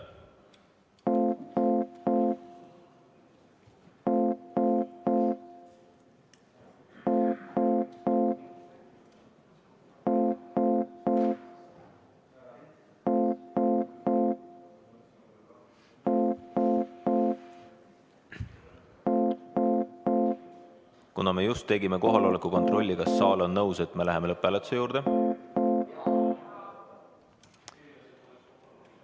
Kuna me just tegime kohaloleku kontrolli, siis kas saal on nõus, et me läheme lõpphääletuse juurde?